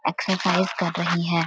Exercise कर रही है।